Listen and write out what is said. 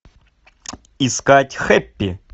искать хэппи